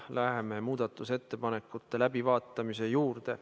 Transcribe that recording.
Läheme muudatusettepanekute läbivaatamise juurde.